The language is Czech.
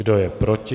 Kdo je proti?